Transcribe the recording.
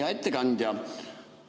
Hea ettekandja!